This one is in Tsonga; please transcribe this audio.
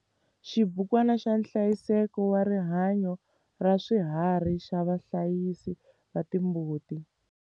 Xibukwana xa nhlayiseko wa rihanyo ra swiharhi xa vahlayisi va timbuti.